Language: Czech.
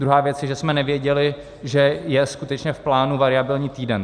Druhá věc je, že jsme nevěděli, že je skutečně v plánu variabilní týden.